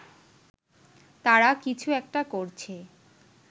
তারা কিছু একটা করছে